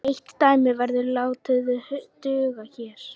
Eitt dæmi verður látið duga hér.